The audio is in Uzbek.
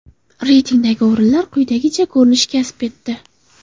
Reytingdagi o‘rinlar quyidagicha ko‘rinish kasb etdi.